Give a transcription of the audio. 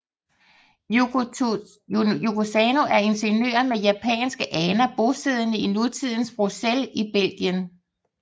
Yoko Tsuno er ingeniør med japanske aner bosiddende i nutidens Bruxelles i Belgien